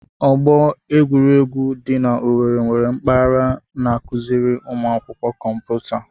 Ọgbọ egwuregwu dị na-Owerri nwere mpaghara n'akụziri ụmụ akwụkwọ kọmputa.